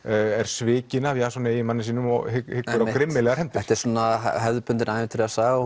er svikin af Jasoni eiginmanni sínum og hyggur á grimmilegar hefndir einmitt þetta er svona hefðbundin ævintýrasaga